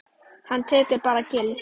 Hann tekur bara gildi?